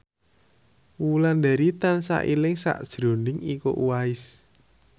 Wulandari tansah eling sakjroning Iko Uwais